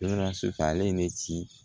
Sisan ale ye ne ci